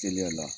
Teliya la